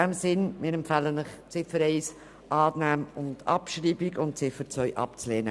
In diesem Sinne empfehlen wir Ihnen, die Ziffer 1 anzunehmen und abzuschreiben und die Ziffer 2 abzulehnen.